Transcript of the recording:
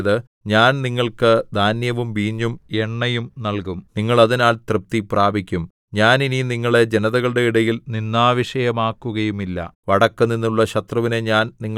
യഹോവ തന്റെ ജനത്തിന് ഉത്തരം അരുളിയത് ഞാൻ നിങ്ങൾക്ക് ധാന്യവും വീഞ്ഞും എണ്ണയും നല്കും നിങ്ങൾ അതിനാൽ തൃപ്തി പ്രാപിക്കും ഞാൻ ഇനി നിങ്ങളെ ജനതകളുടെ ഇടയിൽ നിന്ദാവിഷയമാക്കുകയുമില്ല